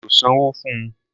Mí ò sanwó fun.